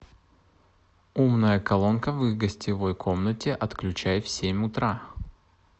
умная колонка в гостевой комнате отключай в семь утра